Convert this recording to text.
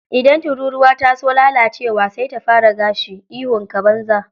Idan tururuwa ta so lalacewa, sai ta fara gashi. Ihunka, banza.